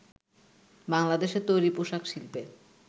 বাংলাদেশের তৈরি পোশাক শিল্পে